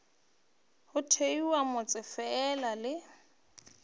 go thewe motse fela le